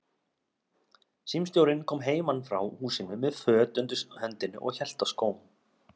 Símstjórinn kom heiman frá húsinu með föt undir hendinni og hélt á skóm.